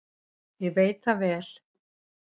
Ég veit það vel.